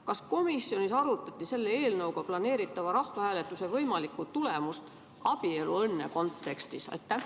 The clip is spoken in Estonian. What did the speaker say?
Kas komisjonis arutati selle eelnõuga planeeritava rahvahääletuse võimalikku tulemust abieluõnne kontekstis?